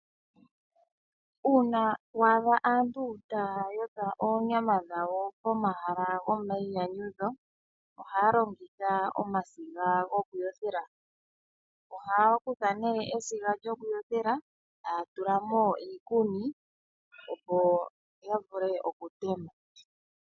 Uuna waadha aantu ta ya yotha oonyama dha wo pomahala gomayinyanyudho, ohaya longitha omasiga gokuyothela. Ohaya kutha nee esiga lyokuyothela, eta ya tula mo iikuni, opo yavule okutema.